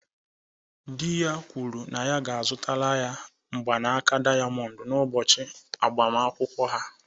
Di ya kwuru na a ga-azụtara ya mgbanaka diamond n'ụbọchị agbamakwụkwọ ha.